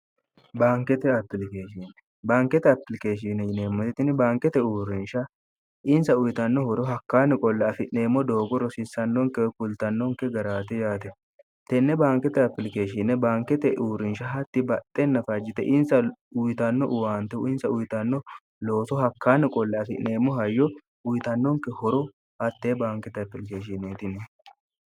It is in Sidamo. baankete atilikeeshinne baankete apilikeeshine yineemmoetini baankete uurrinsha insa uyitanno horo hakkaanni qolle afi'neemmo doogo rosiissannonke kultannonke garaati yaate tenne baankete apilikeeshine bankete uurrinsha hatti baxxe nafajjite insa uyitanno uwaantehu insa uyitanno looso hakkaanni qolle afi'neemmo hayyo uyitannonke horo hattee baankete apilikeeshineetini